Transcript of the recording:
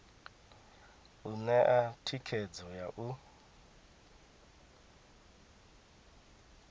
u ṋea thikhedzo ya u